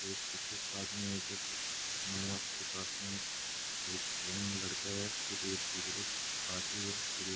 एक बुजुर्ग आदमी है उसके पास में एक यंग लड़का है फिर एक बुजुर्ग आदमी है फिर एक --